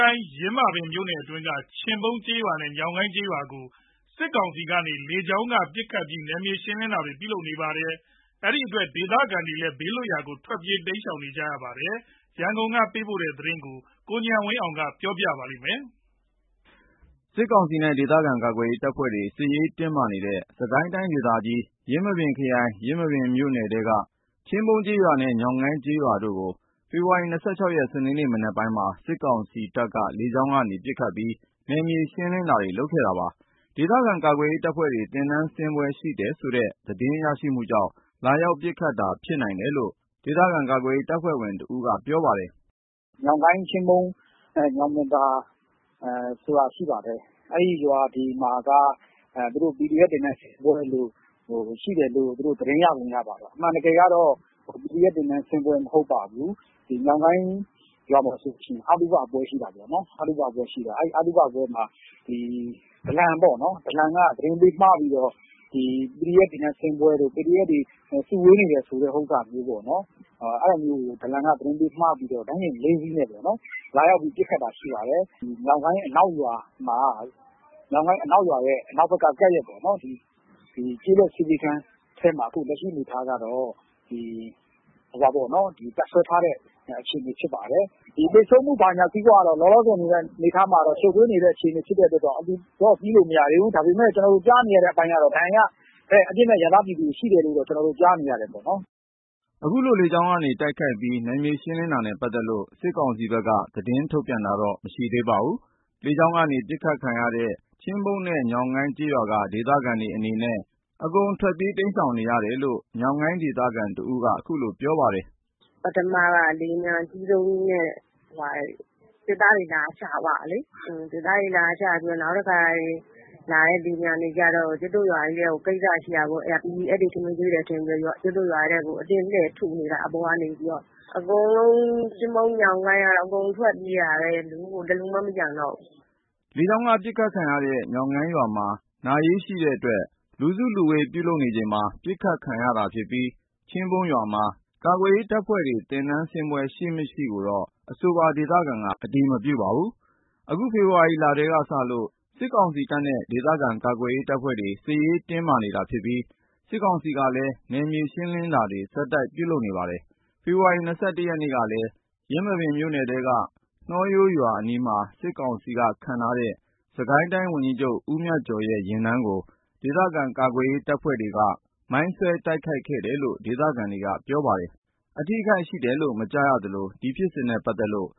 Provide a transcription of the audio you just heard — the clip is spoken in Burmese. ိုင် ယင်းမာပင်မြို့နယ်ထဲက ချင်းပုန်းကျေးရွာနဲ့ ညောင်းကိုင်းကျေးရွာကို စစ်ကောင်စီက လေကြောင်းကနေ ပစ်ခတ်ပြီး နယ်မြေရှင်းလင်းတာတွေ ပြုလုပ်နေပါတယ်။ ဒီအတွက် ဒေသခံတွေလည်း ဘေးလွတ်ရာကို ထွက်ပြေး တိမ်းရှောင်နေရပါတယ်။ ရန်ကုန်ကနေ သတင်းပေးပို့ထားပါတယ်။ စစ်ကောင်စီနဲ့ ဒေသခံ ကာကွယ်ရေးတပ်ဖွဲ့တွေနဲ့ စစ်ရေးတင်းမာနေတဲ့ စစ်ကိုင်းတိုင်းဒေသကြီး ယင်းမာပင်ခရိုင် ယင်းမာပင်မြို့နယ်ထဲက ချင်းပုန်းကျေးရွာနဲ့ ညောင်ကိုင်းကျေးရွာတို့ကို ဖေဖော်ဝါရီ ၂၆ ရက် စနေနေ့မနက်ပိုင်းမှာ စစ်ကောင်စီက လေကြောင်းကနေ ပစ်ခတ်ပြီး နယ်မြေရှင်းလင်းတာတွေ လုပ်ခဲ့တာပါ။ ဒေသခံ ကာကွယ်ရေးတပ်ဖွဲ့တွေ သင်တန်းဆင်းပွဲ ရှိတယ်ဆိုတဲ့ သတင်းရရှိမှုကြောင့် လာရောက်ပစ်ခတ်တာ ဖြစ်နိုင်တယ်လို့ ဒေသခံ ကာကွယ်ရေးတပ်ဖွဲ့ဝင်တဦးက ပြောပါတယ်။ “ညောင်ကိုင်း၊ ချင်းပုန်း၊ ညောင်ပင်သာဆိုတာရှိတယ်။ အဲ့ရွာတွေမှာက PDF သင်တန်းဆင်းပွဲရှိတယ်လို့ သတင်းရပုံ ရပါတယ်။ အမှန်တကယ်က PDF သင်တန်းဆင်းပွဲ မဟုတ်ပါဘူး။ ညောင်ကိုင်းရွာမှာဆိုရင် အသုဘပွဲ ရှိတာပေါ့နော်။ အဲ့အသုဘပွဲမှာ ဒလန်ပေါ့နော်။ ဒလန်က သတင်းပေးမှားပြီးတော့ PDF သင်တန်းဆင်းပွဲလို့ PDF စုဝေးနေတယ်ဆိုတဲ့ဟာကို ဒလန်က သတင်းပေးမှားပြီးတော့ ရဟတ်ယာဉ် ၄ စီးနဲ့ လာရောက်ပစ်ခတ်တာ ဖြစ်ပါတယ်။ ညောင်ကိုင်းအနောက်ရွာ၊ ညောင်ကိုင်းအနောက်ဘက်ရွာရဲ့ ကပ်ရပ် ကျေးလက်ဆေးပေးခန်းထဲမှာ အခုလက်ရှိ တပ်စွဲထားတဲ့ အခြေအနေဖြစ်တယ်။ သေဆုံးမှုအနေအထားက လောလောဆယ် ရှုပ်ထွေးနေတဲ့ အခြေအနေ ဖြစ်တဲ့အတွက်ကြောင့် အတည်ပြုလို့ မရသေးဘူး။ ကျနော်တို့ကြားနေရတာက ဒဏ်ရာရ အပြစ်မဲ့ပြည်သူ အရပ်သား ပြည်သူတွေ ရှိတယ်လို့တော့ ကြားနေရတယ်ပေါ့။” အခုလို လေကြောင်းကတိုက်ခိုက်ပြီး နယ်မြေရှင်းလင်းတာနဲ့ ပတ်သက်လို့ စစ်ကောင်စီဘက်က သတင်းထုတ်ပြန်တာတော့ မရှိသေးပါဘူး။ လေကြောင်းကနေ ပစ်ခံရတဲ့ ချင်းပုန်းနဲ့ ညောင်းကိုင်းကျေးရွာက ဒေသခံတွေအနေနဲ့ အကုန်ထွက်ပြေး တိမ်းရှောင်နေရတယ်လို့ ညောင်ကိုင်းဒေသခံတဦးက အခုလိုပြောပါတယ်။ “ပထမက လေယာဉ်ပျံအကြီးဆုံးကြီးနဲ့ စစ်သားတွေ လာချသွားတာလေ။ စစ်သားတွေ လာချပြီးတော့ နောက်လာတဲ့ လေယာဉ်ကြီးက PDF တွေ ထမင်းကျွေးတယ်ထင်ပြီး ကျုပ်တို့ရွာထဲကို အတင်းလှည့်ပြီး ထုနေတာ၊ အပေါ်ကနေပြီးတော့ အကုန် ချင်းပုန်း၊ ညောင်ကိုင်းကတော့ အကုန်ထွက်ပြေးနေတာပဲ တလူမှ မကျန်တော့ဘူး။” လေကြောင်းက ပစ်ခတ်ခံရတဲ့ ညောင်ကိုင်းရွာမှာ နာရေးရှိတဲ့အတွက် လူစုလူဝေး ပြုလုပ်နေချိန်မှာ ပစ်ခတ်ခံရတာဖြစ်ပြီး ချင်းပုန်းရွာမှာ ကာကွယ်ရေးတပ်ဖွဲ့တွေ သင်တန်းဆင်းပွဲ ရှိမရှိကိုတော့ အဆိုပါ ဒေသခံက အတည်မပြုပါဘူး။ အခုလ ဖေဖော်ဝါရီလထဲကစလို့ စစ်ကောင်စီနဲ့ ဒေသခံကာကွယ်ရေးတပ်ဖွဲ့တွေ စစ်ရေးတင်းမာနေတာဖြစ်ပြီး စစ်ကောင်စီကလည်း နယ်မြေရှင်းလင်းတာတွေ ဆက်တိုက်ပြုလုပ်နေပါတယ်။ ဖေဖော်ဝါရီ ၂၁ ရက်ကလည်း ယင်းမာပင်မြို့နယ်ထဲက နှောရိုးရွာအနီးမှာ စစ်ကောင်စီက ခန့်အပ်ထားတဲ့ စစ်ကိုင်းတိုင်းဝန်ကြီးချုပ် မြတ်ကျော်ရဲ့ ယာဉ်တန်းကို ဒေသခံ ကာကွယ်ရေးတပ်ဖွဲ့တွေက မိုင်းဆွဲတိုက်ခိုက်ခဲ့တယ်လို့ ဒေသခံတွေ ပြောကြပါတယ်။ အထိအခိုက်ရှိတယ်လို့ မကြားရသလို ဒီဖြစ်စဉ်နဲ့ပတ်သက်လို့